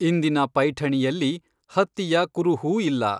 ಇಂದಿನ ಪೈಠಣಿಯಲ್ಲಿ ಹತ್ತಿಯ ಕುರುಹೂ ಇಲ್ಲ.